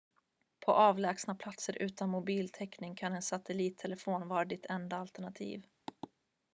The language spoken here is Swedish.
på avlägsna platser utan mobiltäckning kan en satellittelefon vara ditt enda alternativ